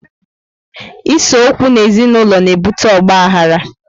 Ise okwu n'ezi naulọ na ebute ọgbaghara